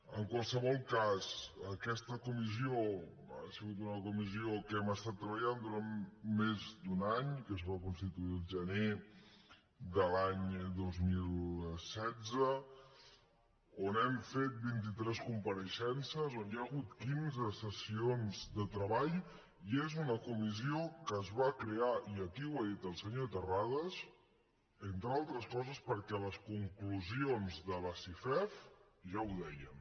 en qualsevol cas aquesta comissió ha sigut una comissió en què hem treballat durant més d’un any es va constituir el gener de l’any dos mil setze on hem fet vint i tres compareixences on hi ha hagut quinze sessions de treball i és una comissió que es va crear i aquí ho ha dit el senyor terrades entre altres coses perquè les conclusions de la cifef ja ho deien